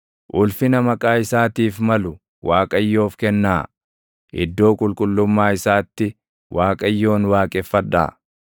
Ulfina maqaa isaatiif malu Waaqayyoof kennaa; iddoo qulqullummaa isaatti Waaqayyoon waaqeffadhaa.